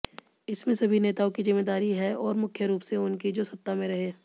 इसमें सभी नेताओं की ज़िम्मेदारी है और मुख्यरूप से उनकी जो सत्ता में रहे